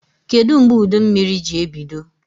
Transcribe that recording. Kedụ mgbe udummiri ji ebido?